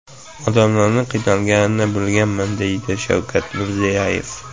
Odamlarning qiynalganini bilganman”, deydi Shavkat Mirziyoyev.